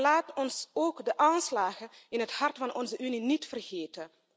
Maar laten we ook de aanslagen in het hart van onze Unie niet vergeten.